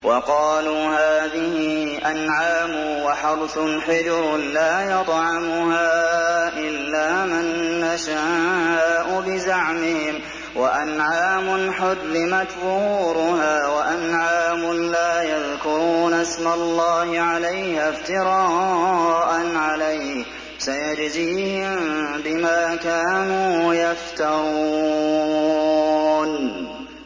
وَقَالُوا هَٰذِهِ أَنْعَامٌ وَحَرْثٌ حِجْرٌ لَّا يَطْعَمُهَا إِلَّا مَن نَّشَاءُ بِزَعْمِهِمْ وَأَنْعَامٌ حُرِّمَتْ ظُهُورُهَا وَأَنْعَامٌ لَّا يَذْكُرُونَ اسْمَ اللَّهِ عَلَيْهَا افْتِرَاءً عَلَيْهِ ۚ سَيَجْزِيهِم بِمَا كَانُوا يَفْتَرُونَ